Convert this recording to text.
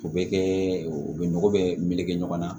O bɛ kɛ u bɛ nɔgɔ bɛɛ meleke ɲɔgɔn na